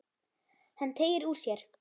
Hann teygir úr sér.